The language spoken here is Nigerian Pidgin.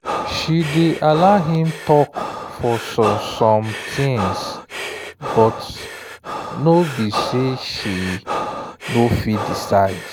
she dey allow him talk for some some things but no be say she no fit decide.